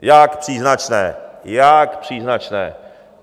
Jak příznačné, jak příznačné!